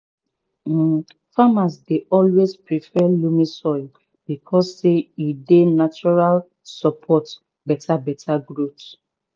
um farmers dey always prefer loamy soil because say e dey naturally support beta beta growth